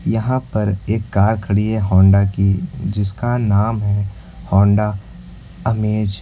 यहां पर एक कार खड़ी है होंडा की जिसका नाम है होंडा अमेज ।